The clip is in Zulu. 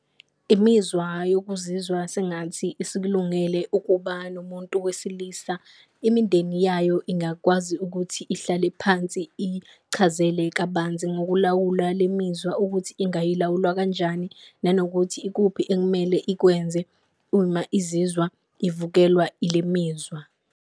Imizwa yokuzizwa sengathi isikulungele ukuba nomuntu wesilisa, umindeni yayo ingakwazi ukuthi ihlale phansi iyichazele kabanzi ngokulawula le mizwa ukuthi ingayilawulwa kanjani. Nanokuthi ikuphi ekumele ikwenze uma izizwa ivukelwa ile mizwa.